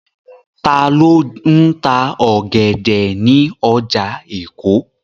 Ta ló ń ta ọ̀gẹ̀dẹ̀ ní ọjà Èkó?